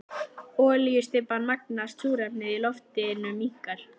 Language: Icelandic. Olíustybban magnast, súrefnið í loftinu minnkar.